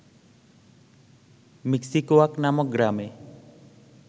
মিক্সিকোয়াক নামক গ্রামে